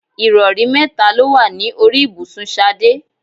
Ìrọ̀rí mẹ́ta ló wà ní orí ibùsùn Ṣadé.